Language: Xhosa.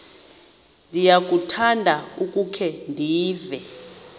ndiyakuthanda ukukhe ndive